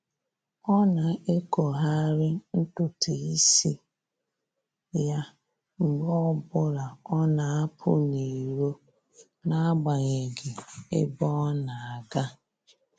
Ọ na-ekogharị ntụtụ isi ya mgbe ọbụla ọ na-apụ n'iro n'agbanyeghị ebe ọ na-aga